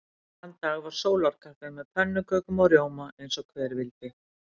Þann dag væri sólarkaffi með pönnukökum og rjóma eins og hver vildi.